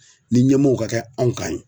Ni ɲɛmɔɔw ka kɛ anw kan yen